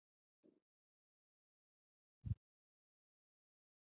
Ef svo er, hvenær er þá best að rúlla?